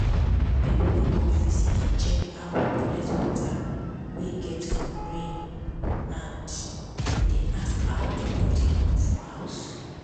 pipu wey come visit dey check how we collect water wey get from rain and dem dey ask how to do their own for house.